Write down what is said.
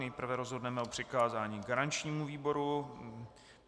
Nejprve rozhodneme o přikázání garančnímu výboru.